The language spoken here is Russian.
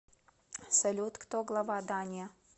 салют кто глава дания